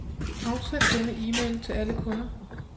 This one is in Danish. Afsend denne e-mail til alle kunder.